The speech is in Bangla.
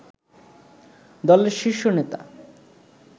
দলের শীর্ষ নেতা